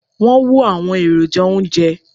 wón wo àwọn èròjà ounjẹ